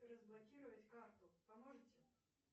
разблокировать карту поможете